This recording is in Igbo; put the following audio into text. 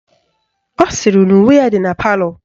Ọ sịrị na uwe ya dị na palọ